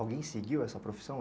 Alguém seguiu essa profissão?